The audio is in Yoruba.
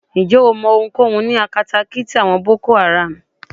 Ǹjẹ́ o mọ ohunkóhun ní akatakíti àwọn Boko Haram?